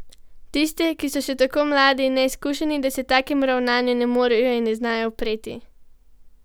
Tiste, ki so še tako mladi in neizkušeni, da se takemu ravnanju ne morejo in ne znajo upreti?